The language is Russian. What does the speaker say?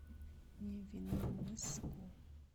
невинномысску